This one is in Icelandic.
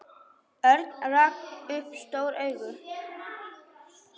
Örn rak upp stór augu.